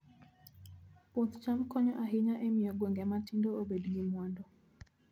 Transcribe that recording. Puoth cham konyo ahinya e miyo gwenge matindo obed gi mwandu